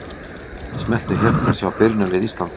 Smelltu hér til að sjá byrjunarlið Íslands.